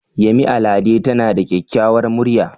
Yemi Alade tana da kyakkyawar murya.